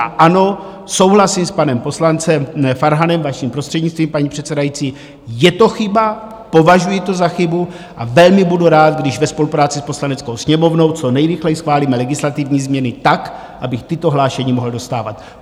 A ano, souhlasím s panem poslancem Farhanem, vaším prostřednictvím, paní předsedající, je to chyba, považuji to za chybu a velmi budu rád, když ve spolupráci s Poslaneckou sněmovnou co nejrychleji schválíme legislativní změny tak, abych tato hlášení mohli dostávat.